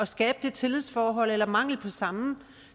skabe det tillidsforhold eller mangel på samme